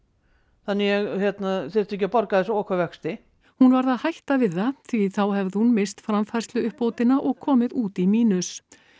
þannig að ég þyrfti ekki að borga þessa okurvexti hún varð að hætta við það því þá hefði hún misst framfærsluuppbótina og komið út í mínus